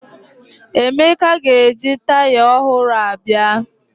Emeka ga-eji taya ọhụrụ a bịa